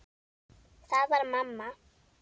Það var mamma.